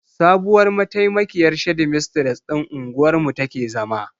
Sabuwar mataimakiyar shedimistres ɗin unguwar mu take zama.